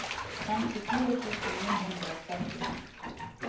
femtifire tusen ni hundre og syttien